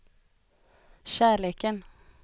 kärleken